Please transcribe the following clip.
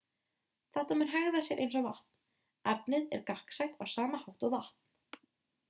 þetta mun hegða sér eins og vatn efnið er gagnsætt á sama hátt og vatn